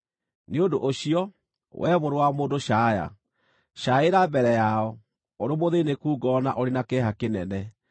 “Nĩ ũndũ ũcio, wee mũrũ wa mũndũ caaya! Caaĩra mbere yao, ũrĩ mũthĩĩnĩku ngoro na ũrĩ na kĩeha kĩnene.